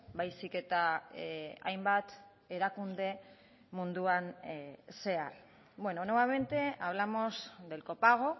baizik eta hainbat erakunde munduan zehar bueno nuevamente hablamos del copago